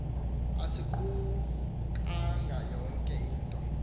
asiqukanga yonke into